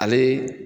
Ale